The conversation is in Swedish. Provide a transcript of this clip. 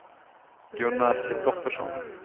Gunnar Kristoffersson